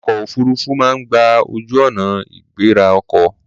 Ọkọ̀ òfuruufú máa ń gba ojú-ọ̀nà ìgbéra ọkọ̀.